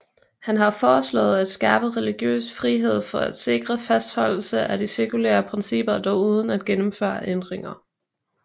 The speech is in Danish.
Han har foreslået at skærpe religiøs frihed for at sikre fastholdelse af de sekulære principper dog uden at gennemføre ændringer